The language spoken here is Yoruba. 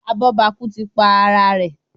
Abobaku tí pá àrà rẹ.